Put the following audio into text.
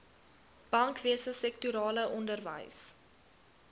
bankwese sektorale onderwys